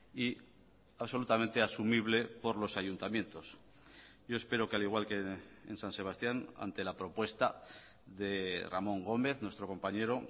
y absolutamente asumible por los ayuntamientos yo espero que al igual que en san sebastián ante la propuesta de ramón gómez nuestro compañero